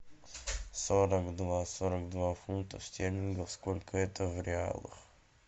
сорок два сорок два фунтов стерлингов сколько это в реалах